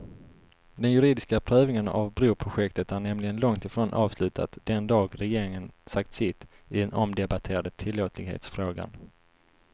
Den juridiska prövningen av broprojektet är nämligen långt ifrån avslutat den dag regeringen sagt sitt i den omdebatterade tillåtlighetsfrågan.